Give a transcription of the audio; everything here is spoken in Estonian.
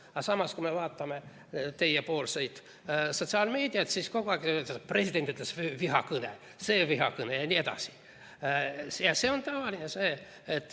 Aga samas, kui vaatame nende enda sotsiaalmeediat, siis kogu aeg on, et president ütles midagi ja see on vihakõne.